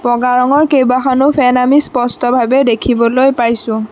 বগা ৰঙৰ কেইবাখনো ফেন আমি স্পষ্টভাৱে দেখিবলৈ পাইছোঁ।